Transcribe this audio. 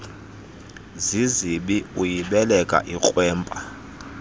zizibi uyibeleka ikrwempa